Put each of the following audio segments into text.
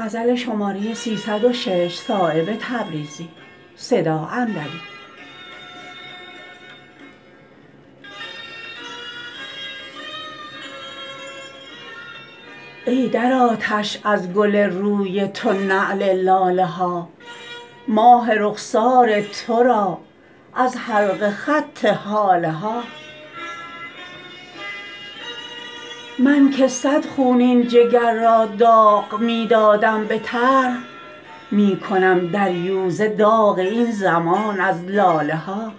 ای در آتش از گل روی تو نعل لاله ها ماه رخسار ترا از حلقه خط هاله ها من که صد خونین جگر را داغ می دادم به طرح می کنم دریوزه داغ این زمان از لاله ها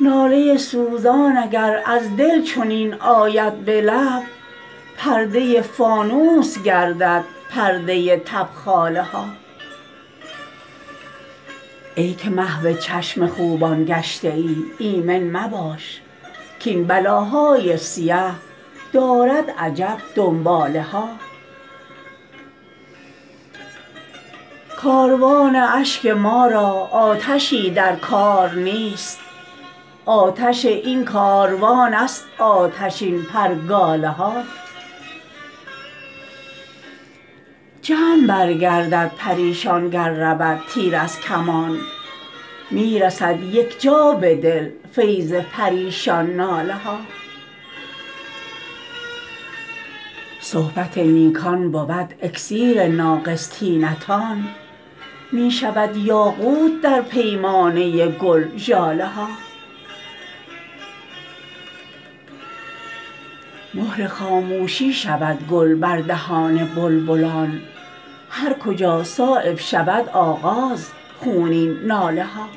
ناله سوزان اگر از دل چنین آید به لب پرده فانوس گردد پرده تبخاله ها ای که محو چشم خوبان گشته ای ایمن مباش کاین بلاهای سیه دارد عجب دنباله ها کاروان اشک ما را آتشی در کار نیست آتش این کاروان است آتشین پرگاله ها جمع برگردد پریشان گر رود تیر از کمان می رسد یک جا به دل فیض پریشان ناله ها صحبت نیکان بود اکسیر ناقص طینتان می شود یاقوت در پیمانه گل ژاله ها مهر خاموشی شود گل بر دهان بلبلان هرکجا صایب شود آغاز خونین ناله ها